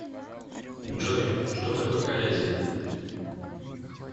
джой что такое калязин